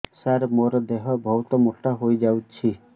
ସାର ମୋର ଦେହ ବହୁତ ମୋଟା ହୋଇଯାଉଛି